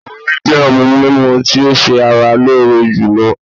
Omí jẹ́ òhún mímú tí o ṣé ara lóore jùlọ.